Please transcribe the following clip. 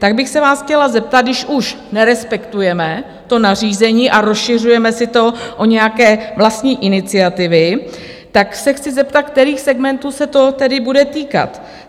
Tak bych se vás chtěla zeptat, když už nerespektujeme to nařízení a rozšiřujeme si to o nějaké vlastní iniciativy, tak se chci zeptat, kterých segmentů se to tedy bude týkat.